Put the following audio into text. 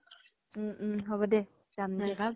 উম উম হʼব দে । যাম দে ।